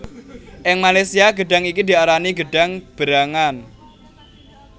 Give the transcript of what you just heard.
Ing Malaysia gedhang iki diarani gedhang berangan